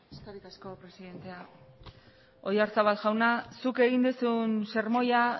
eskerrik asko presidentea oyarzabal jauna zuk egin duzun sermoia